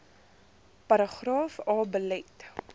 paragraaf a belet